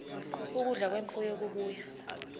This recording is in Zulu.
ukudla kwemfuyo okubuya